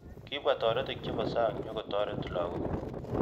Kibwa toretik chebo sang nyikotaret lakok